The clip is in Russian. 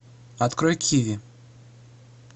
открой киви